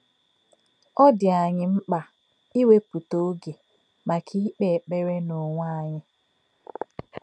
Ọ́ dị̄ ànyí̄ mkpá̄ ìwẹ́pụ̀tà̄ ògé̄ màkà̄ ìkpè̄ ékpèrè̄ n’ònwé̄ ànyí̄.